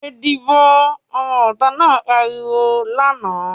"Yé díbò!", ọmọ ìta náà pariwo lánàá.